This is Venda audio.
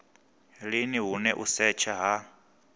lini hune u setsha ha